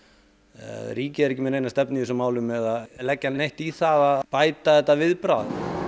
ríkið er ekki með neina stefnu í þessum málum eða virðist leggja neitt í það að bæta þetta viðbragð